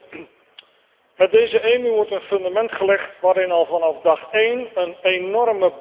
Met deze EMU wordt een fundament gelegd waarin al vanaf dag één een enorme barst loopt.